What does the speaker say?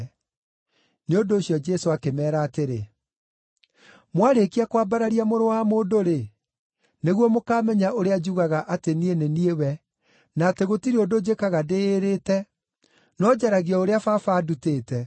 Nĩ ũndũ ũcio Jesũ akĩmeera atĩrĩ, “Mwarĩkia kwambararia Mũrũ wa Mũndũ-rĩ, nĩguo mũkamenya ũrĩa njugaga atĩ niĩ nĩ niĩ we, na atĩ gũtirĩ ũndũ njĩkaga ndĩĩrĩte, no njaragia o ũrĩa Baba andutĩte.